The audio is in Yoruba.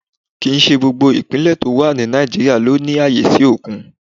Kì ń ṣe gbogbo Ìpínlẹ̀ tó wà ní Nàìjíríà lọ ní ààyè sí òkun.